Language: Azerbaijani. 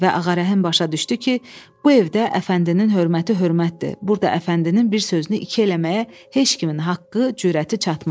və Ağarəhim başa düşdü ki, bu evdə Əfəndinin hörməti hörmətdir, burda Əfəndinin bir sözünü iki eləməyə heç kimin haqqı, cürəti çatmaz.